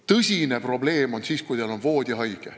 Tõsine probleem on siis, kui teil on kodus voodihaige.